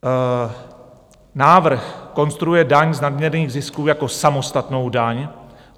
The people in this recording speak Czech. Návrh konstruuje daň z nadměrných zisků jako samostatnou daň.